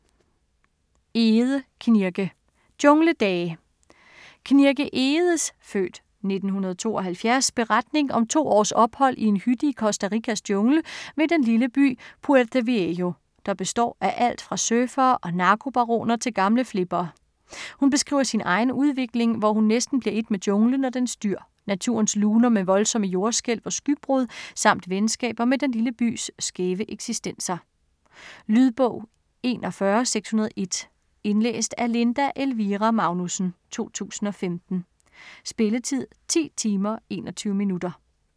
Egede, Knirke: Jungledage Knirke Egedes (f. 1972) beretning om to års ophold i en hytte i Costa Ricas jungle ved den lille by Puerto Viejo, der består af alt fra surfere og narkobaroner til gamle flippere. Hun beskriver sin egen udvikling, hvor hun næsten bliver et med junglen og dens dyr, naturens luner med voldsomme jordskælv og skybrud samt venskaber med den lille bys skæve eksistenser. Lydbog 41601 Indlæst af Linda Elvira Magnussen, 2015. Spilletid: 10 timer, 21 minutter.